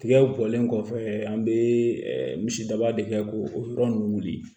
Tigɛw bɔlen kɔfɛ an bɛ misidaba de kɛ ko o yɔrɔ ninnu wuli